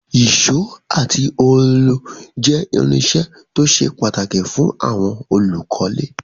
Ìsó àti òòlù je irinsẹ́ to se pàtàkì fún àwon olùkólé